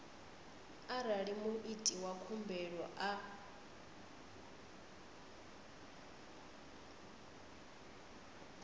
arali muiti wa khumbelo a